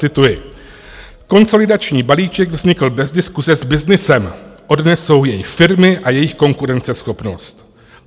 Cituji: Konsolidační balíček vznikl bez diskuse s byznysem, odnesou jej firmy a jejich konkurenceschopnost.